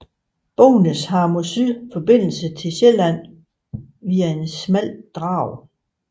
Bognæs har mod syd forbindelse til Sjælland via et smalt drag